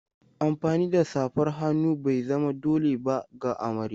Amfani da safar hannu bai zama dole ba ga amarya.